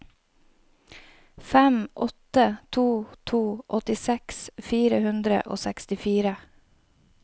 fem åtte to to åttiseks fire hundre og sekstifire